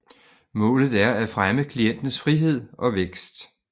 Målet er at fremme klientens frihed og vækst